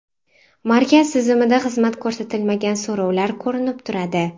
Markaz tizimida xizmat ko‘rsatilmagan so‘rovlar ko‘rinib turadi.